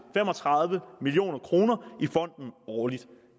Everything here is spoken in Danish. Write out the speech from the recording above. fem og tredive million kroner i fonden årligt